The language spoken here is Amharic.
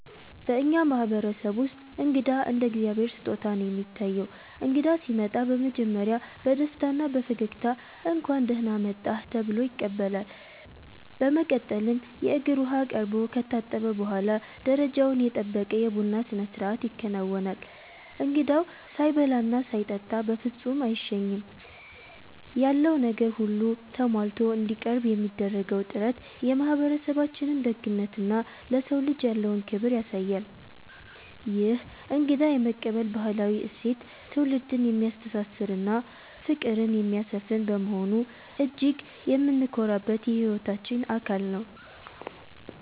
በእኛ ማህበረሰብ ውስጥ እንግዳ እንደ እግዚአብሔር ስጦታ ነው የሚታየው። እንግዳ ሲመጣ በመጀመሪያ በደስታና በፈገግታ 'እንኳን ደህና መጣህ' ተብሎ ይቀበላል። በመቀጠልም የእግር ውሃ ቀርቦ ከታጠበ በኋላ፣ ደረጃውን የጠበቀ የቡና ስነስርዓት ይከናወናል። እንግዳው ሳይበላና ሳይጠጣ በፍጹም አይሸኝም። ያለው ነገር ሁሉ ተሟልቶ እንዲቀርብ የሚደረገው ጥረት የማህበረሰባችንን ደግነትና ለሰው ልጅ ያለውን ክብር ያሳያል። ይህ እንግዳ የመቀበል ባህላዊ እሴት ትውልድን የሚያስተሳስርና ፍቅርን የሚያሰፍን በመሆኑ እጅግ የምንኮራበት የህይወታችን አካል ነው።